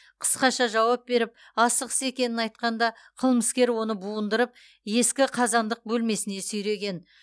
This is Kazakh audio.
қысқаша жауап беріп асығыс екенін айтқанда қылмыскер оны буындырып ескі қазандық бөлмесіне сүйреген